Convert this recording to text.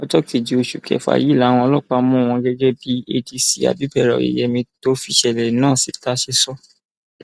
ọjọ kejì oṣù kẹfà yìí làwọn ọlọpàá mú wọn gẹgẹ bí adc abibera oyeyèmí tó fìṣẹlẹ náà síta ṣe sọ